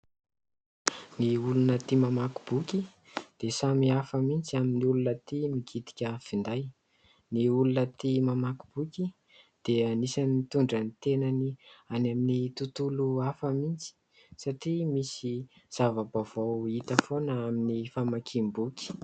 Ny olona tia mamaky boky dia samihafa mihitsy amin'ny olona tia mikitika finday. Ny olona tia mamaky boky dia anisany nitondra ny tenany any amin'ny tontolo hafa mihitsy satria misy zava-baovao hita foana amin'ny famakim-boky.